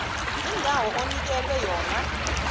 indawo onikelwe yona